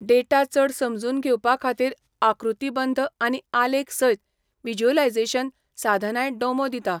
Data चड समजून घेवपा खातीर आकृतीबंध आनी आलेख सयत व्हिज्युअलायझेशन साधनांय डोमो दिता.